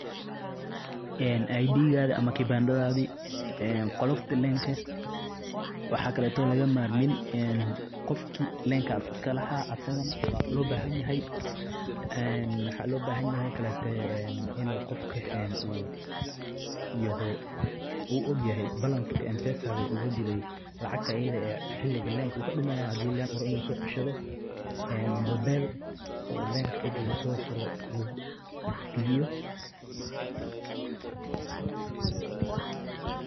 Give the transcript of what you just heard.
ID kaagi ama kibaandaadhadi qoloftaa Line ka waxa kaleto laga marmin qofkii Line kaas iskaahala asigaan waa lobahayhayah een waxa lobahayha oo kaleto inu qofka yaaho en uu ogyahay Balance kaa Mpesa Ugujire lacagta itadha ah hiliga Line ka kadumaye hadu Line rawo inu soceshto Mobile oo ega Line ka lasofuro lagu.